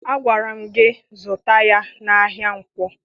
Agwara m gị zụta ya n'ahịa Nkwọ!